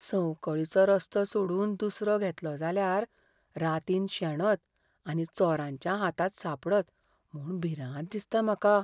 संवकळीचो रस्तो सोडून दुसरो घेतलो जाल्यार रातीन शेणत आनी चोरांच्या हातांत सापडत म्हूण भिरांत दिसता म्हाका.